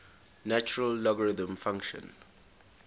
natural logarithm function